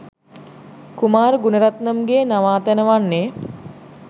කුමාර් ගුණරත්නම්ගේ නවාතැන වන්නේ